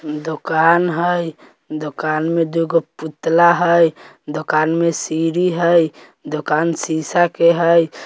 दोकान हेय दोकान मे दूगो पुतला हेय दुकान में सिरी हेय दुकान शीशा के हेय।